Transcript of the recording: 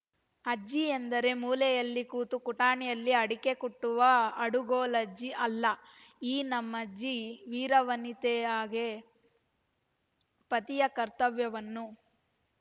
ಅಜ್ಜಿ ಎಂದರೆ ಮೂಲೆಯಲ್ಲಿ ಕೂತು ಕುಟಾಣಿಯಲ್ಲಿ ಅಡಿಕೆ ಕುಟ್ಟುವ ಅಡುಗೂಲಜ್ಜಿ ಅಲ್ಲ ಈ ನಮ್ಮಜ್ಜಿ ವೀರ ವನಿತೆಯಾಗೆ ಪತಿಯ ಕರ್ತವ್ಯವನ್ನೂ